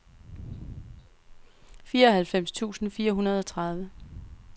fireoghalvfems tusind fire hundrede og tredive